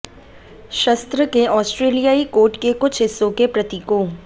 शस्त्र के ऑस्ट्रेलियाई कोट के कुछ हिस्सों के प्रतीकों